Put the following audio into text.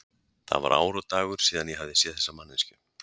Það var ár og dagur síðan ég hafði séð þessa manneskju.